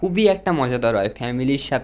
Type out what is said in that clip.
খুবই একটা মজাদার হয় ফ্যামিলির সাথ--